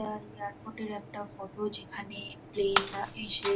এটা এয়ারপোর্ট -এর একটা ফটো যেখানে প্লেন -রা এসে